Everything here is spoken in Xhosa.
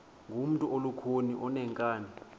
ngumntu olukhuni oneenkani